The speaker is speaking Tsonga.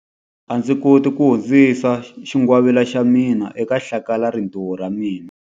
A ndzi koti ku hundzisa xingwavila xa mina eka hlakalarintiho ra ra mina.